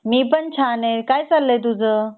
मी पण छान आहे काय चाललंय तुझ